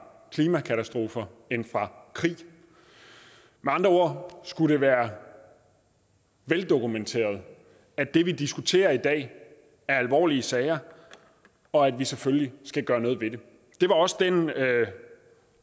klimakatastrofer end fra krig med andre ord skulle det være veldokumenteret at det vi diskuterer i dag er alvorlige sager og at vi selvfølgelig skal gøre noget ved det det var også den